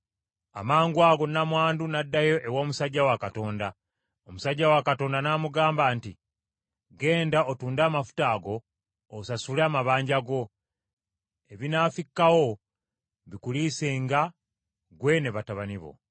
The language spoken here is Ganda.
Amangwago nnamwandu n’addayo ew’omusajja wa Katonda. Omusajja wa Katonda n’amugamba nti, “Genda otunde amafuta ago, osasule amabanja go, ebinaafikkawo bikuliisenga ggwe ne batabani bo.”